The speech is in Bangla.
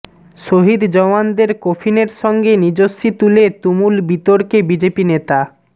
শহিদ জওয়ানের কফিনের সঙ্গে নিজস্বী তুলে তুমুল বিতর্কে বিজেপি নেতা